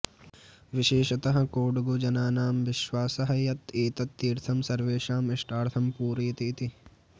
विशेषतः कोडगुजनानां विश्वासः यत् एतत् तीर्थं सर्वेषाम् इष्टार्थं पूरयति इति